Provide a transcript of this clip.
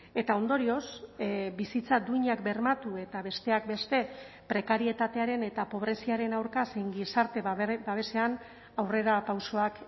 eta ondorioz bizitza duinak bermatu eta besteak beste prekarietatearen eta pobreziaren aurka zein gizarte babesean aurrerapausoak